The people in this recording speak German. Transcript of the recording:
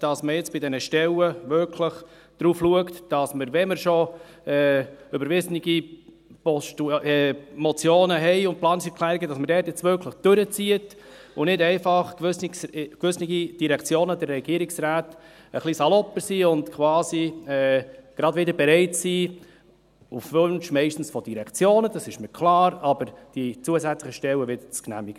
Es geht darum, dass man bei den Stellen wirklich darauf schaut, dass man überwiesene Motionen und Planungserklärungen umsetzt, und dass nicht gewisse Regierungsräte und Direktionen etwas salopper vorgehen und wieder bereit sind, zusätzliche Stellen zu genehmigen, auch wenn mir klar ist, dass dieser auf Wünsche aus den Direktionen zurückgehen.